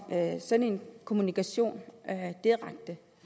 sådan en kommunikation direkte